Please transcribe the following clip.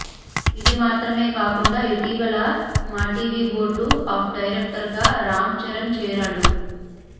ఇది మాత్రమే కాకుండా ఇటీవల మాటివి బోర్డ్ ఆఫ్ డైరెక్టర్గా రామ్ చరణ్ చేరాడు